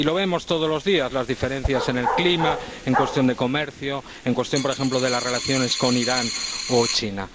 Y lo vemos todos los días las diferencias en cuestión de clima, en cuestión de comercio, en cuestión, por ejemplo, de las relaciones con Irán o China.